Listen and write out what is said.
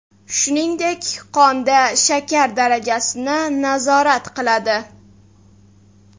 Shuningdek, qonda shakar darajasini nazorat qiladi.